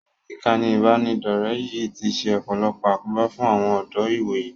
Ìkànnì ìbánidọ̀rẹ́ yìí ti ṣe ọ̀pọ̀lọpọ̀ àkóbá fún àwọn ọ̀dọ́ ìwòyí